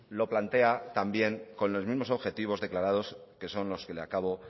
lo plantea también con los mismos objetivos declarados que son los que le acabo